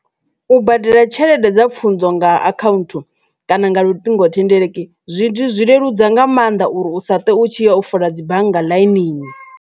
U badela tshelede dza pfhunzo nga account kana nga luṱingothendeleki zwi zwi leludza nga maanḓa uri u sa ṱuwe u tshi ya u fola dzi bannga ḽainini.